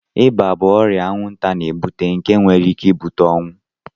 ịba bụ ọrịa anwụnta na-ebute nke nwere ike ibute ọnwụ